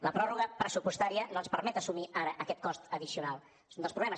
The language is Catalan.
la pròrroga pressupostària no ens permet assumir ara aquest cost addicional és un dels problemes